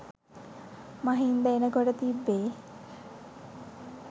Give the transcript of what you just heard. මහින්ද එනකොට තිබ්බෙ.